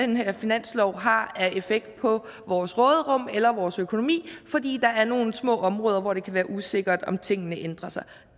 den her finanslov har af effekt på vores råderum eller vores økonomi fordi der er nogle små områder hvor det kan være usikkert om tingene ændrer sig